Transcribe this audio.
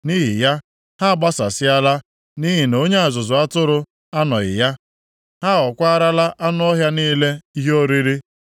Nʼihi ya, ha agbasasịala nʼihi na onye ọzụzụ atụrụ anọghị ya. Ha aghọkwaarala anụ ọhịa niile ihe oriri.